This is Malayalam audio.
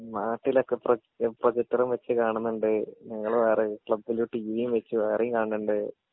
നാട്ടിലൊക്കെ പ്രൊ പ്രൊജക്റ്ററ് വെച്ച് കാണുന്നുണ്ട് ഞങ്ങള് വേറെ ക്ലബ്ബില് ടീവീം വെച്ച് വേറീം കാണുന്നുണ്ട്